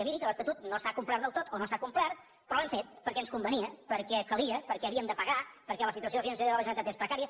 miri que l’estatut no s’ha complert del tot o no s’ha complert però l’hem fet perquè ens convenia perquè calia perquè havíem de pagar perquè la situació financera de la generalitat és precària